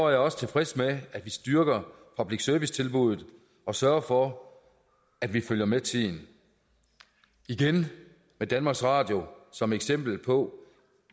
jeg også tilfreds med at vi styrker public service tilbuddet og sørger for at vi følger med tiden igen med danmarks radio som eksempel på